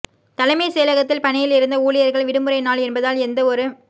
தலைமை செயலகத்தில் பணியில் இருந்த ஊழியர்கள் விடுமுறை நாள் என்பதால் எந்த வொரு